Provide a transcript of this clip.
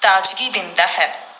ਤਾਜ਼ਗੀ ਦਿੰਦਾ ਹੈ,